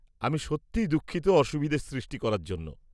আমি সত্যিই দুঃখিত অসুবিধে সৃষ্টি করার জন্য।